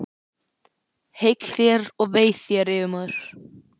Heill þér og vei þér, yfirmaður!